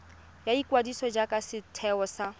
ya ikwadiso jaaka setheo sa